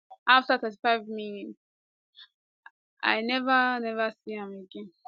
afta 35 minutes um i neva neva see am again